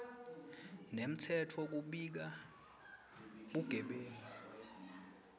nemtsetfo kubika bugebengu